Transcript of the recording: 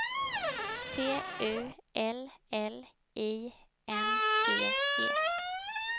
T U L L I N G E